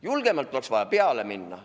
Julgemalt oleks vaja peale minna.